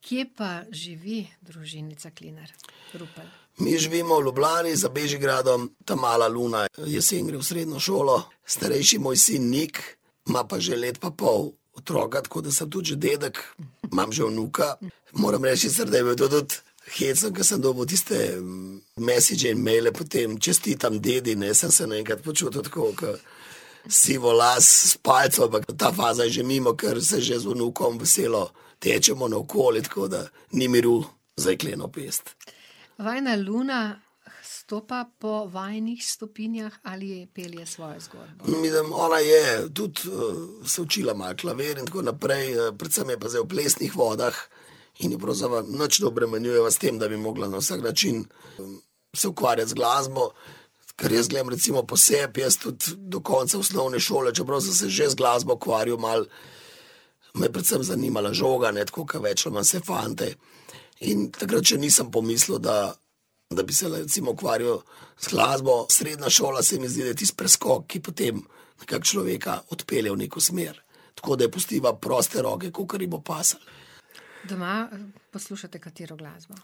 Kje pa živi družinica Klinar-Rupel? Mi živimo v Ljubljani, za Bežigradom, ta mala Luna, jeseni gre v srednjo šolo, starejši moj sin Nik ima pa že leto pa pol otroka, tako da sem tudi že dedek, imam že vnuka. Moram reči, in sem, da je bilo to tudi hecno, ko sem dobil tiste mesidže, maile potem, čestitam, dedi, ne, sem se naenkrat počutil tako kot sivolas s palico, ampak ta faza je že mimo, ker se že z vnukom veselo tečemo naokoli, tako da ni miru za jekleno pest. Vajina Luna stopa po vajinih stopinjah ali pelje svojo zgodbo? Mislim, ona je tudi, se učila malo klavir in tako naprej, predvsem je pa zdaj v plesnih vodah in je pravzaprav nič ne obremenjujeva s tem, da bi mogla na vsak način se ukvarjati z glasbo. Ker jaz gledam recimo po sebi, jaz tudi do konca osnovne šole, čeprav sem se že z glasbo ukvarjal malo, me je predvsem zanimala žoga, ne, tako kot več ali manj vse fante. In takrat še nisem pomislil, da, da bi se recimo ukvarjal z glasbo. Srednja šola se mi zdi, da je tisti preskok, ki potem kar človeka odpelje v neko smer. Tako da ji pustiva proste roke, kakor ji bo pasalo. Doma poslušate katero glasbo?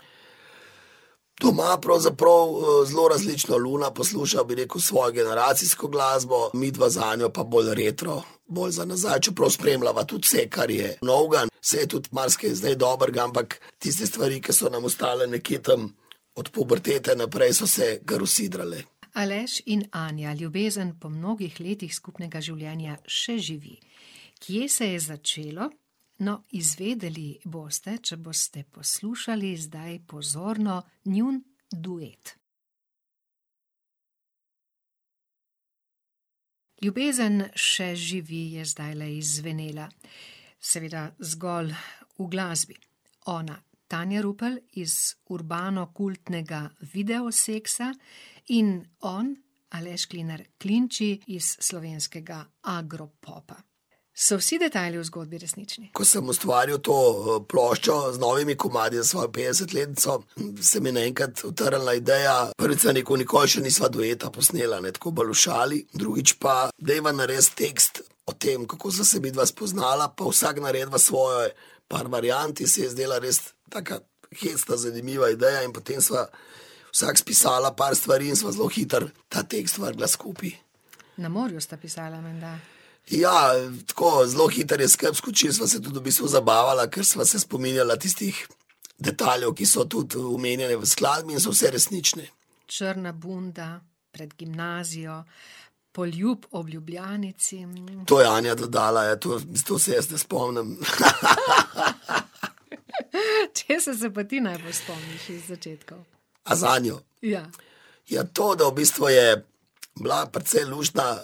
Doma pravzaprav, zelo različno, Luna posluša, bi rekel, svojo generacijsko glasbo, midva z Anjo pa bolj retro, bolj za nazaj, čeprav spremljava tudi vse, kar je novega, saj je tudi marsikaj zdaj dobrega, ampak tiste stvari, ki so nam ostale nekje tam od pubertete naprej, so se kar usidrale. Aleš in Anja, ljubezen po mnogih letih skupnega življenja še živi. Kje se je začelo? No, izvedeli boste, če boste poslušali zdaj pozorno njun duet. Ljubezen še živi je zdajle izzvenela. Seveda zgolj v glasbi. Ona, Tanja Rupel, iz urbano kultnega Videosexa, in on, Aleš Klinar - Klinči, iz slovenskega Agropopa. So vsi detajli v zgodbi resnični? Ko sem ustvarjal to, ploščo z novimi komadi za svojo petdesetletnico, se mi je naenkrat utrnila ideja. Prvič sem rekel: "Nikoli še nisva dueta posnela," ne, tako bolj v šali, drugič pa: "Dajva narediti tekst o tem, kako sva se midva spoznala, pa vsak narediva svoje par variant," in se ji je zdela res taka hecna, zanimiva ideja in potem sva vsak spisala par stvari in sva zelo hitro ta tekst vrgla skupaj. Na morju sta pisala menda. Ja, tako, zelo hitro je skupaj skočilo, sva se v bistvu tudi zabavala, kar sva se spominjala tistih detajlov, ki so tudi omenjeni v skladbi in so vsi resnični. Črna bunda, pred gimnazijo, poljub ob Ljubljanici. To je Anja dodala, ja to, to se jaz ne spomnim, . Česa se pa ti najbolj spomniš iz začetkov? A z Anjo? Ja. Ja to, da v bistvu je bila precej luštna,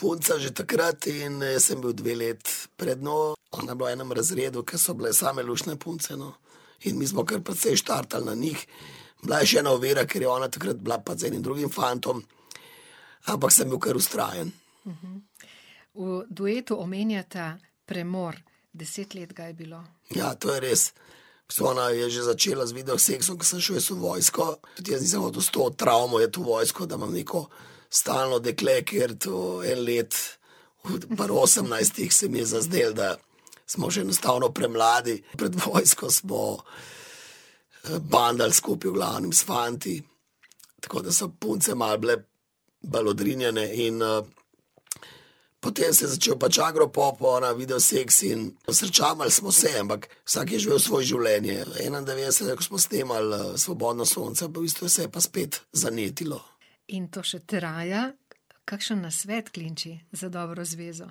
punca že takrat, in jaz sem bil dve leti pred njo, ona je bila v enem razredu, ke so bile same luštne punce, no. In mi smo kar precej štartali na njih. Bila je še ena ovira, ker je ona takrat bila pač z enim drugim fantom, ampak sem bil kar vztrajen. V duetu omenjata premor. Deset let ga je bilo. Ja, to je res. V bistvu ona je že začela z Videosexom, ke sem šel jaz v vojsko, tudi jaz nisem hotel s to travmo iti v vojsko, da imam neko stalno dekle, ker to je let, pri osemnajstih se mi je zazdelo, da smo še enostavno premladi. Pred vojsko smo, bandali skupaj, v glavnem s fanti. Tako da so punce malo bile bolj odrinjene in, potem se je začel pač Agropop, ona Videosex in, no, srečavali smo se, ampak vsak je živel svoje življenje. Enaindevetdesetega, ke smo snemali, Svobodno sonce, pa v bistvu se je pa spet zanetilo. In to še traja. Kakšen nasvet, Klinči, za dobro zvezo?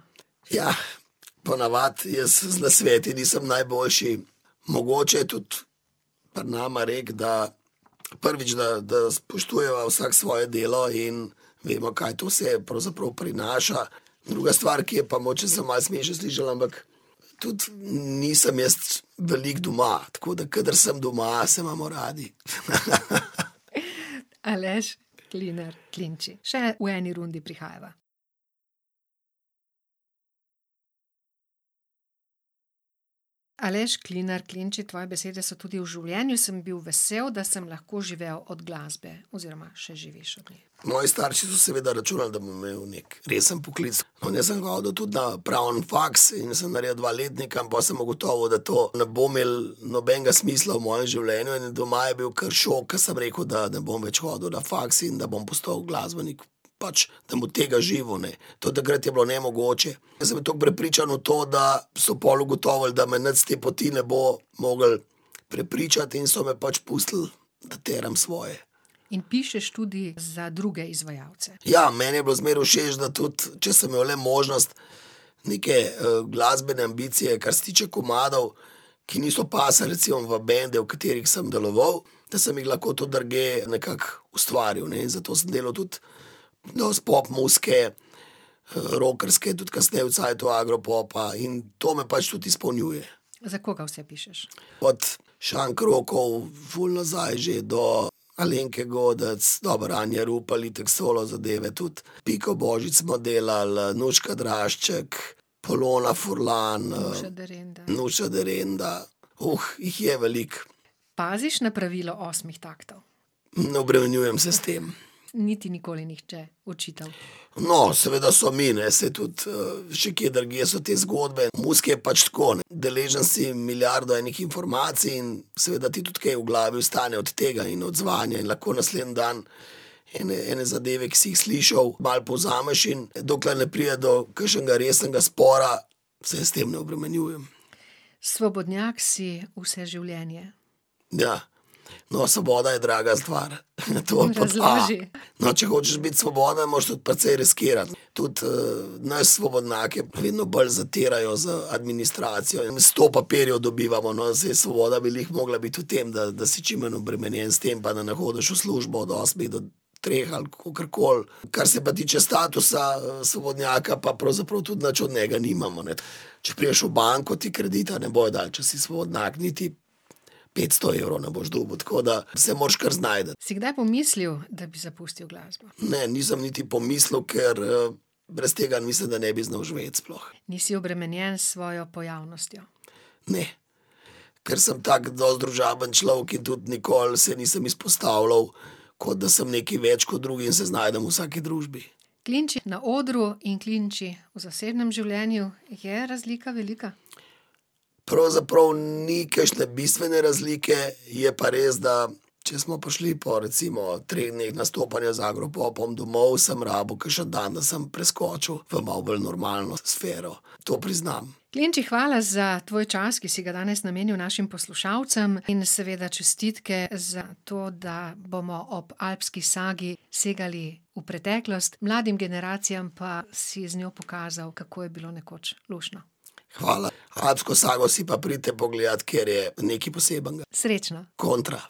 ponavadi jaz z nasveti nisem najboljši. Mogoče je tudi pri nama rek, da, prvič, da, da spoštujeva vsak svoje delo, in vidimo, kaj to vse pravzaprav prinaša, druga stvar, ki je pa, mogoče se bo malo smešno slišalo, ampak tudi nisem jaz veliko doma, tako da kadar sem doma, se imamo radi. Aleš Klinar - Klinči, še v eni rundi prihajava. Aleš Klinar - Klinči, tvoje besede so tudi: "V življenju sem bil vesel, da sem lahko živel od glasbe." Oziroma še živiš. Moji starši so seveda računali, da bom imel neki resen poklic, no, jaz sem hodil tudi na pravni faks in sem naredil dva letnika in pol sem ugotovil, da to ne bo imel nobenega smisla v mojem življenju, in doma je bil kar šok, ker sem rekel, da ne bom več hodil na faks in da bom postal glasbenik. Pač sem od tega živel, ne. To takrat je bilo nemogoče. Jaz sem bil tako prepričan v to, da so pol ugotovili, da me nič s te poti ne bo moglo prepričati, in so me pač pustili, da teram svoje. In pišeš tudi za druge izvajalce. Ja, meni je bilo zmeraj všeč, da tudi če sem imel le možnost, neke, glasbene ambicije, kar se tiče komadov, ki niso pasali recimo v bende, v katerih sem deloval, da sem jih lahko tudi drugje nekako ustvaril, ne, in zato sem delal tudi dosti pop muzike, rockerske, tudi kasneje v cajtu Agropopa in to me pač tudi izpolnjuje. Za koga vse pišeš? Od Šank Rockov, ful nazaj že, do Alenke Godec, dobro, Anja Rupel itak, solo zadeve tudi, Piko Božič smo delali, Nuška Drašček, Polona Furlan, ... Nuša Derenda. Nuša Derenda, jih je veliko. Paziš na pravilo osmih taktov? Ne obremenjujem se s tem. Ni ti nikoli nihče očital? No, seveda so mi, ne, saj tudi, že kje drugje so te zgodbe, v muziki je pač tako, ne, deležen si milijarde enih informacij in seveda ti tudi kaj v glavi ostane od tega in odzvanja in lahko naslednji dan ene, ene zadeve, ki si jih slišal, malo povzameš, in dokler ne pride do kakšnega resnega spora, se s tem ne obremenjujem. Svobodnjak si vse življenje. Ja. No, svoboda je draga stvar. to pod a. Razloži. No, če hočeš biti svoboden, moraš tudi precej riskirati. Tudi, nas, svobodnjake, vedno bolj zatirajo z administracijo in sto papirjev dobivamo, no, in saj svoboda bi glih mogla biti v tem, da, da si čim manj obremenjen s tem pa da ne hodiš v službo od osmih do treh ali kakorkoli. Kar se pa tiče statusa, svobodnjaka, pa pravzaprav tudi nič od njega nimamo, ne. Če prideš v banko, ti kredita ne bojo dali, če si svobodnjak, niti petsto evrov ne boš dobil, tako da se moraš kar znajti. Si kdaj pomislil, da bi zapustil glasbo? Ne, nisem niti pomislil, ker, brez tega mislim, da ne bi znal živeti sploh. Nisi obremenjen s svojo pojavnostjo? Ne. Ker sem tako dosti družaben človek in tudi nikoli se nisem izpostavljal, kot da sem nekaj več kot drugi, in se znajdem v vsaki družbi. Klinči na odru in Klinči v zasebnem življenju, je razlika velika? Pravzaprav ni kakšne bistvene razlike, je pa res, da če smo prišli po recimo treh dneh nastopanja z Agropopom domov, sem rabil kakšen dan, da sem preskočil v malo bolj normalno sfero. To priznam. Klinči, hvala za tvoj čas, ki si ga danes namenil našim poslušalcem, in seveda čestitke za to, da bomo ob Alpski sagi segali v preteklost, mladim generacijam pa si z njo pokazal, kako je bilo nekoč luštno. Hvala, Alpsko sago si pa pridite pogledat, ker je nekaj posebnega. Srečno. Kontra.